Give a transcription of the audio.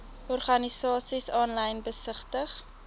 organisasies aanlyn besigtig